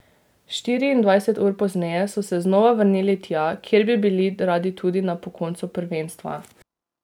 Štiriindvajset ur pozneje so se znova vrnili tja, kjer bi bili radi tudi na po koncu prvenstva.